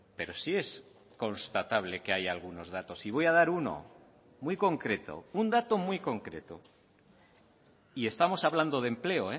pero sí es constatable que hay algunos datos y voy a dar uno muy concreto un dato muy concreto y estamos hablando de empleo